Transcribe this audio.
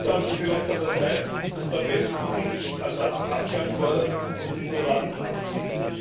Es ist also vielleicht an der Zeit, dass der Westen endlich Assads Abgang fordert und Diplomaten abzieht.